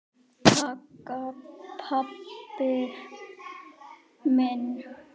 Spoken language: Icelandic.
Takk pabbi minn.